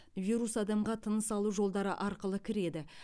вирус адамға тыныс алу жолдары арқылы кіреді